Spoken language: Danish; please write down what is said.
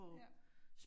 Ja